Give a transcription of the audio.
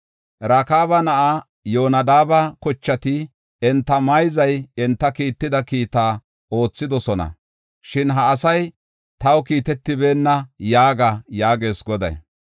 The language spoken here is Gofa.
Rakaaba na7aa Yoonadaabe kochati enta mayzay enta kiitida kiita oothidosona; shin ha asay taw kiitetibeenna yaaga” yaagees Goday.